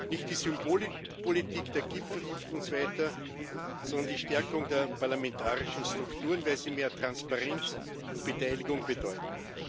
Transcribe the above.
Nicht die Symbolpolitik der Gipfel hilft uns weiter, sondern die Stärkung der parlamentarischen Strukturen, weil sie mehr Transparenz und Beteiligung bedeuten.